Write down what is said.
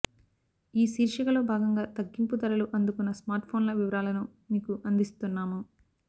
ఈ శీర్షిక లో భాగంగా తగ్గింపు ధరలు అందుకున్న స్మార్ట్ ఫోన్ల వివరాలను మీకు అందిస్తున్నాము